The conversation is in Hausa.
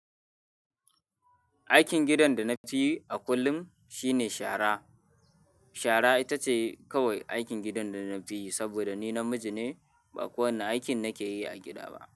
Aikin gidan da na fi a kullum shine shara. Shara ita ce kawai aikin gidan da na fi yi saboda ni namiji ne, ba kowane aikin nake yi a gida ba.